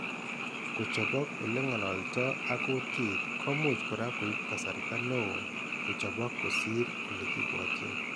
Kochopok ole ng'ololto ak kutiit ko much kora koib kasarta ne oo kochopok kosir ole kibwotyin.